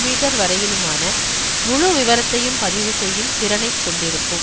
metre வரையிலுமான முழு விவரத்தையும் பதிவு செய்யும் திறனை கொண்டிருக்கும்